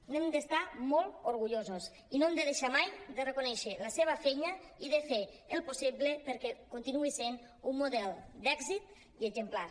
n’hem d’estar molt or·gullosos i no hem de deixar mai de reconèixer la seva feina i de fer el possible per·què continuï sent un model d’èxit i exemplar